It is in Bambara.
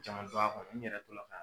caman dɔn a kɔnɔ n yɛrɛ tola ka